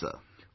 Yes sir